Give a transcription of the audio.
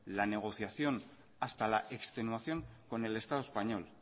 la negociación hasta la extenuación con el estado español